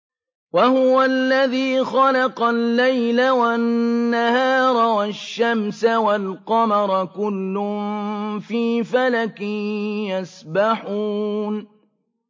وَهُوَ الَّذِي خَلَقَ اللَّيْلَ وَالنَّهَارَ وَالشَّمْسَ وَالْقَمَرَ ۖ كُلٌّ فِي فَلَكٍ يَسْبَحُونَ